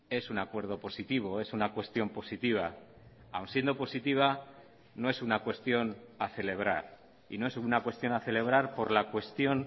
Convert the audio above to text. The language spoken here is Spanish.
es un acuerdo positivo es una cuestión positiva aun siendo positiva no es una cuestión a celebrar y no es una cuestión a celebrar por la cuestión